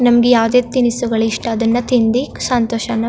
ನಮ್ಗೆ ಯಾವದೇ ತಿನಿಸುಗಳು ಇಷ್ಟ ಅದ್ನತಿಂದಿ ಸಂತೋಷನ --